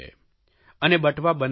અને બટવા બનાવે છે